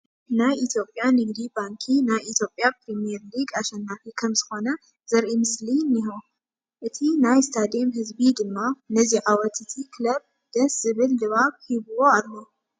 ናይ ኢትዮጵያ ንግዲ ባንኪ ናይ ኢትዮጵያ ፕሪሚየር ሊግ ኣሸናፊ ከምዝኾነ ዘርኢ ምስሊ እኔሆ፡፡ እቲ ናይ ስቴድየም ህዝቢ ድማ ነዚ ዓወት እቲ ክለብ ደስ ዝብል ድባብ ሂብዎ ኣሎ፡፡